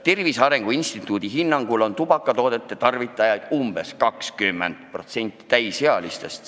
Tervise Arengu Instituudi hinnangul on tubakatoodete tarvitajaid umbes 20% täisealistest.